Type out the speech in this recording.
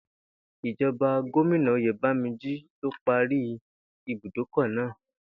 Ìjo̩ba Gómìnà Oyèbánjí ló parí ibùdókò̩ náà